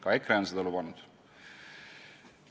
Ka EKRE on seda lubanud.